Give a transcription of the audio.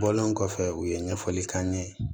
Bɔlen kɔfɛ u ye ɲɛfɔli k'an ye